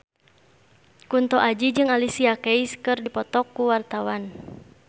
Kunto Aji jeung Alicia Keys keur dipoto ku wartawan